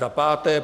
Za páté.